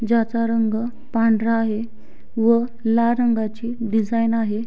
ज्याचा रंग पांढरा आहे व लाल रंगाची डिझाईन आहे.